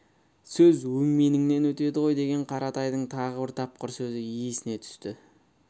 сөз өңменіңнен өтеді ғой деген қаратайдың тағы бір тапқыр сөзі есіне түсті